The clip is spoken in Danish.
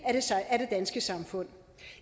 danske samfund